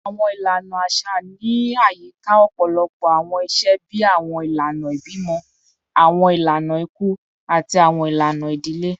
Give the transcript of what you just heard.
Awọn ilana aṣa ni ayika ọpọlọpọ awọn iṣe bii awọn ilana ibimọ, awọn ilana iku, ati awọn ilana idile